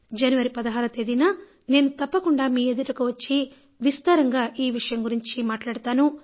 జనవరి 16వ తేదీన నేను తప్పకుండా మీ ఎదుటకు వచ్చి విస్తారంగా ఈ విషయం గురించి మాట్లాడతాను